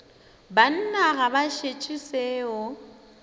banna ga ba šetše seo